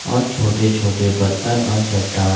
और छोटे छोटे पत्थर और चट्टान--